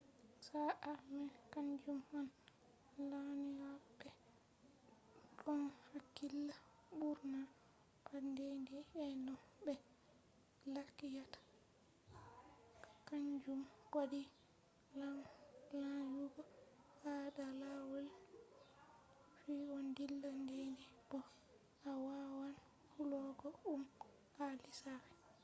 sa'a mai kanjum on lanyoɓe ɗon hakkila ɓurna pat dey-dey ɓe no be lakyata; kaanjum waɗi lanyugo ha da lawol fu ɗon dilla dey-dey bo a wawan hollugo ɗum ha lissafi